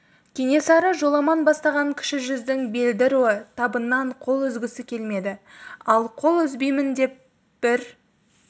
кенесары жоламан бастаған кіші жүздің белді руы табыннан қол үзгісі келмеді ал қол үзбеймін деп бір